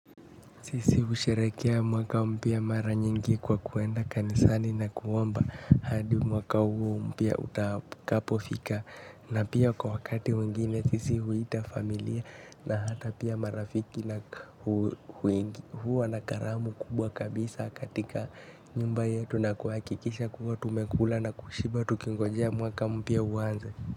Sisi husherehekea mwaka mpya mara nyingi kwa kuenda kanisani na kuomba hadi mwaka huo mpya utakapofika na pia kwa wakati mwingine sisi huita familia na hata pia marafiki na huwa na karamu kubwa kabisa katika nyumba yetu na kuhakikisha kuwa tumekula na kushiba tukingojea mwaka mpya uanze.